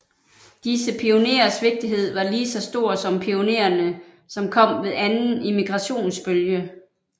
Disse pionerers vigtighed var lige så stor som pionererne som kom ved anden immigrationsbølge